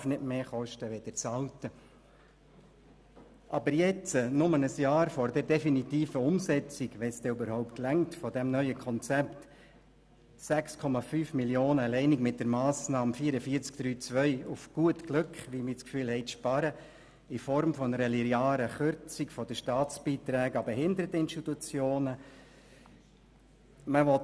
Aber es ist aus Sicht der SP-JUSO-PSA-Fraktion nicht nachvollziehbar und auch nicht zu verantworten, wenn jetzt, nur ein Jahr vor der definitiven Umsetzung des neuen Konzepts, falls dies dann wirklich so eintritt, 6,5 Mio. Franken allein mit der Massnahme 44.3.2 und auf gut Glück – zumindest haben wir diesen Eindruck – in Form einer linearen Kürzung der Staatsbeiträge an die Behinderteninstitutionen gespart werden sollen.